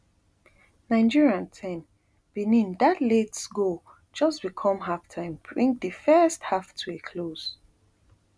nigeria ten benin dat late goal just before halftime bring di first half to a close